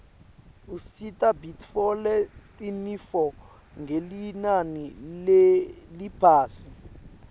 usita bitfole tinifo ngelinani leliphasi